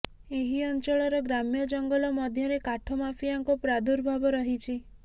ଏହି ଅଂଚଳର ଗ୍ରାମ୍ୟ ଜଙ୍ଗଲ ମଧ୍ୟରେ କାଠ ମାଫିଆଙ୍କ ପ୍ରାଦୁର୍ଭାବ ରହିଛି